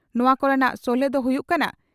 ᱱᱚᱣᱟ ᱠᱚᱨᱮᱱᱟᱜ ᱥᱚᱞᱦᱮ ᱫᱚ ᱦᱩᱭᱩᱜ ᱠᱟᱱᱟ